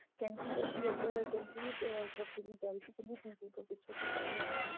ਕਹਿੰਦੀ ਅਸੀਂ ਉੱਧਰ ਕਹਿੰਦੀ ah ਪ੍ਰੀਤੀ ਤੋਂ ਪੁਛੋ ਕਿੱਧਰ ਜਾਣਾ.